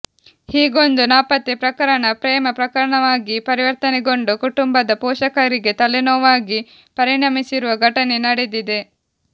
ಹೀಗೊಂದು ನಾಪತ್ತೆ ಪ್ರಕರಣ ಪ್ರೇಮ ಪ್ರಕರಣವಾಗಿ ಪರಿವರ್ತನೆಗೊಂಡು ಕುಟುಂಬದ ಪೋಷಕರಿಗೆ ತಲೆನೋವಾಗಿ ಪರಿಣಮಿಸಿರುವ ಘಟನೆ ನಡೆದಿದೆ